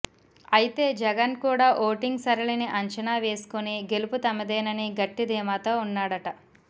అయితే జగన్ కూడా ఓటింగ్ సరళిని అంచనా వేసుకుని గెలుపు తమదేనని గట్టి ధీమాతో ఉన్నాడట